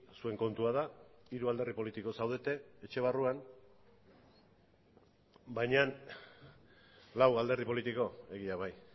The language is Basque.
zuen kontua da hiru alderdi politiko zaudete etxe barruan baina lau alderdi politiko egia bai